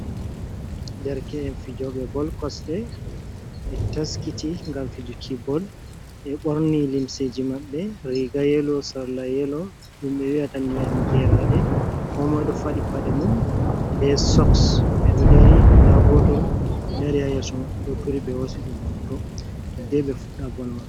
Derke’en fijoɓe bol kosɗe be taskiti ngam fijuki bol. Ɓe ɓorni limseji maɓɓe riga yelo, sarla yelo ɗum ɓe wi'ata ndiyam geraɗe. Ko moi ɗo faɗi paɗe mum be soks ɓeɗo dari. Nda goto dari ha yeso maɓɓe ɗo turi ɓe hosi ɗum hoto hidde be fuɗɗa bol man.